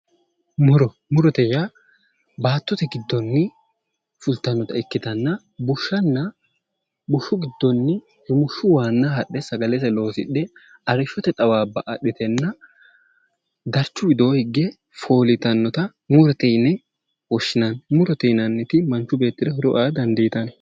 Muro, murote yaa baattote giddoni fulittanotta ikkittanna bushshanna bushshu giddonni rumushu waana hadhe sagalese loosidhe arrishote xawaabba adhitenna darichu widooni higge foolittanotta murote yinne woshshinanni, murote yinnanniti manchi beettira horo aa dandiittano.